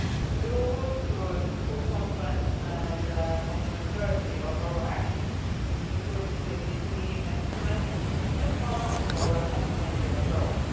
We will work towards full confluence and complementarity of our actions, including CSDP instruments as part of our comprehensive approach.